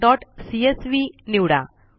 contact CSV निवडा